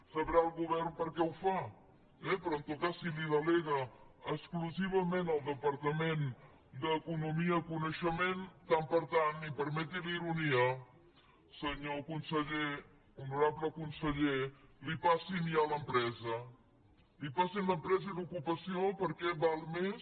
el govern deu saber per què ho fa eh però en tot cas si ho delega exclusivament al departament d’economia i coneixement tant per tant i permeti la ironia senyor conseller honorable conseller passin li ja l’empresa passin li l’empresa i l’ocupació perquè val més